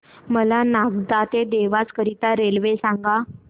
मला नागदा ते देवास करीता रेल्वे सांगा